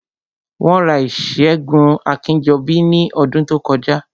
Wọ́n ra ìṣẹ́gun Akínjọbí ní ọdún tó kọjá